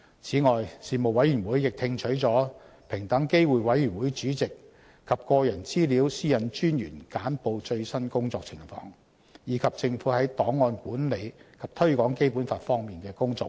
此外，事務委員會亦聽取了平等機會委員會主席及個人資料私隱專員簡報最新工作情況，以及政府在檔案管理及推廣《基本法》方面的工作匯報。